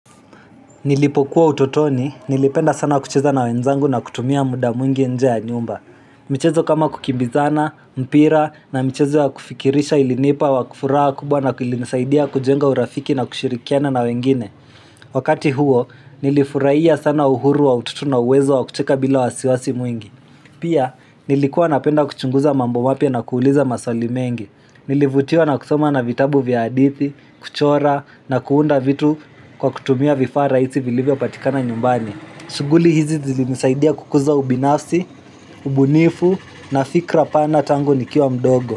Nilipokuwa utotoni, nilipenda sana kucheza na wenzangu na kutumia muda mwingi nje ya nyumba. Michezo kama kukimbizana, mpira na michezo ya kufikirisha ilinipa furaha kubwa na ilinisaidia kujenga urafiki na kushirikiana na wengine. Wakati huo, nilifurahia sana uhuru wa utoto na uwezo wa kucheka bila wasiwasi mwingi. Pia, nilikuwa napenda kuchunguza mambo mapya na kuuliza maswali mengi. Nilivutiwa na kusoma na vitabu vya hadithi, kuchora na kuunda vitu kwa kutumia vifaa rahisi vilivyopatikana nyumbani shughuli hizi zilinisaidia kukuza ubinafsi, ubunifu na fikra pana tangu nikiwa mdogo.